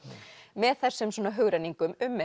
með þessum hugrenningum um